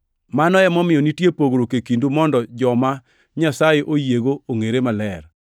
Mano emomiyo nitiere pogruok e kindu mondo joma Nyasaye oyiego ongʼere maler.